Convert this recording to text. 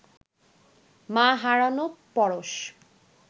মা হারানো পরশ